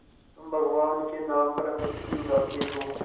तुम भगवान के नाम पर हँसी उड़ाते हो